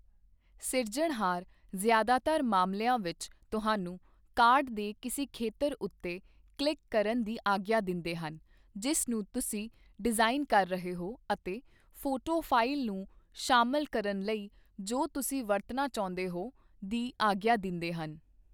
ਸਿਰਜਣਹਾਰ ਜ਼ਿਆਦਾਤਰ ਮਾਮਲਿਆਂ ਵਿੱਚ, ਤੁਹਾਨੂੰ ਕਾਰਡ ਦੇ ਕਿਸੇ ਖੇਤਰ ਉੱਤੇ ਕਲਿੱਕ ਕਰਨ ਦੀ ਆਗਿਆ ਦਿੰਦੇ ਹਨ ਜਿਸ ਨੂੰ ਤੁਸੀਂ ਡਿਜ਼ਾਈਨ ਕਰ ਰਹੇ ਹੋ ਅਤੇ ਫੋਟੋ ਫਾਇਲ ਨੂੰ ਸ਼ਾਮਲ ਕਰਨ ਲਈ ਜੋ ਤੁਸੀਂ ਵਰਤਣਾ ਚਾਹੁੰਦੇ ਹੋ ਦੀ ਆਗਿਆ ਦਿੰਦੇ ਹਨ।